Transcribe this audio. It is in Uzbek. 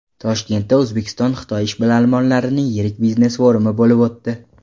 Toshkentda O‘zbekistonXitoy ishbilarmonlarining yirik biznes-forumi bo‘lib o‘tdi.